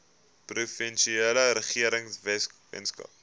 provinsiale regering weskaap